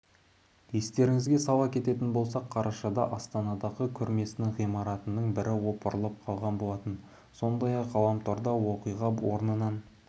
естеріңізге сала кететін болсақ қарашада астанадағы көрмесінің ғимараттарының бірі опырылып қалған болатын сондай-ақ ғаламторда оқиға орнынан